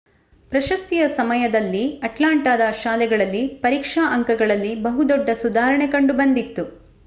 ಪ್ರಶಸ್ತಿಯ ಸಮಯದಲ್ಲಿ ಅಟ್ಲಾಂಟಾದ ಶಾಲೆಗಳಲ್ಲಿ ಪರೀಕ್ಷಾ ಅಂಕಗಳಲ್ಲಿ ಬಹು ದೊಡ್ಡ ಸುಧಾರಣೆ ಕಂಡುಬಂದಿತ್ತು